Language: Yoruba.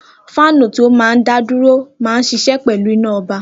Fáánù tí ó máa ń dá dúró maà ń ṣiṣẹ́ pẹ̀lú iná ọba